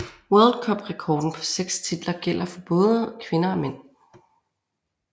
World Cup rekorden på seks titler gælder for både kvinder og mænd